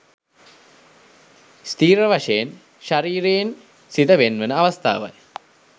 ස්ථිර වශයෙන් ශරීරයෙන් සිත වෙන්වන අවස්ථාවයි